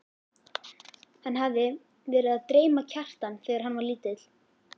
Hann hafði verið að dreyma Kjartan þegar hann var lítill.